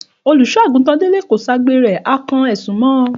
Òlúsọàgútan dẹlẹ ò sà gbẹ rẹ,à kán ẹsún mọ.